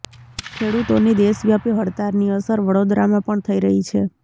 ખેડૂતોની દેશવ્યાપી હડતાળની અસર વડોદરામાં પણ થઇ રહી છે